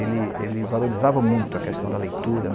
Ele ele valorizava muito a questão da leitura.